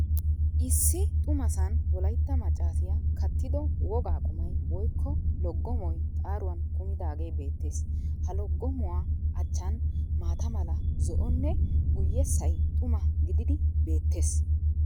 Issi xumasan wolaytta maccaasay kattido wogaa qummay woykko loggomoy xaaruwan kumidaagee beettees. ha loggomuwa achchan maata mala, zo"onne guyessay xuma gididi beettees.